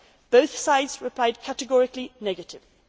them on PNR. Both sides replied categorically